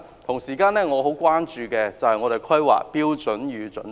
同時，我很關注《香港規劃標準與準則》。